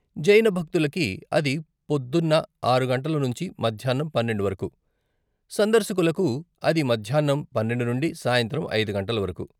జైన్ భక్తులకి అది పొద్దున్న ఆరు గంటలు నుంచి మధ్యాన్నం పన్నెండు వరకు, సందర్శకులకు అది మధ్యాన్నం పన్నెండు నుండి సాయంత్రం ఐదు గంటలు వరకు.